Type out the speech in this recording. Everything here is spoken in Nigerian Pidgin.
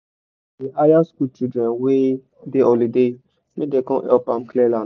my pale dey hire school children wey dey holiday make them come help am clear land